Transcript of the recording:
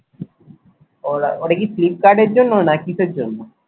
ও-ওটা কি Flipkart এর জন্য না কিসের জন্য?